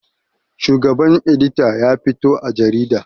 Shugaban edita ya fito a jarida